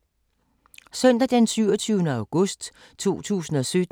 Søndag d. 27. august 2017